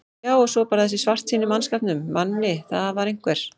Já og svo bara þessi bjartsýni í mannskapnum, Manni, það var einhver